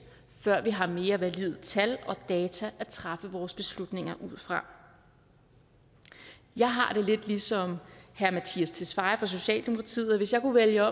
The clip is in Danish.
før vi har mere valide tal og data at træffe vores beslutninger ud fra jeg har det lidt ligesom herre mattias tesfaye fra socialdemokratiet og hvis jeg kunne vælge